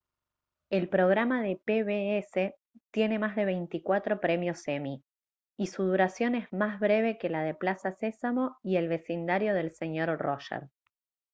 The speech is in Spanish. el programa de pbs tiene más de veinticuatro premios emmy y su duración es más breve que la de plaza sésamo y el vecindario del señor roger